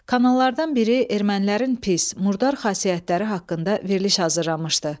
Kanallardan biri ermənilərin pis, murdar xasiyyətləri haqqında veriliş hazırlamışdı.